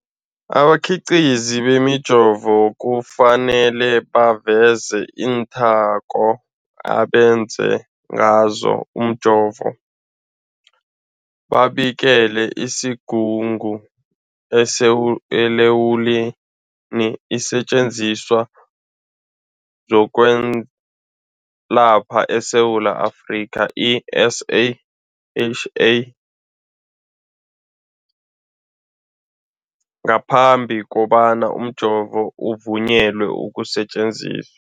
Abakhiqizi bemijovo kufanele baveze iinthako abenze ngazo umjovo, babikele isiGungu esiLawula iinSetjenziswa zokweLapha eSewula Afrika, i-SAHA, ngaphambi kobana umjovo uvunyelwe ukusebenza.